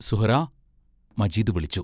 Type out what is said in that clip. സുഹ്റാ മജീദ് വിളിച്ചു.